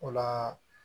O la